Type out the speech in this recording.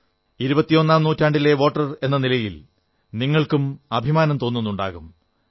ഇരുപത്തിയൊന്നാം നൂറ്റാണ്ടിലെ വോട്ടർ എന്ന നിലയിൽ നിങ്ങൾക്കും അഭിമാനം തോന്നുന്നുണ്ടാകും